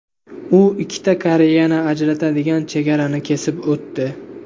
U ikkita Koreyani ajratadigan chegarani kesib o‘tdi.